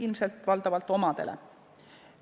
Ilmselt valdavalt omadele.